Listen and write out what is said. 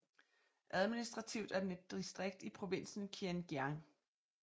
Administrativt er den et distrikt i provinsen Kiên Giang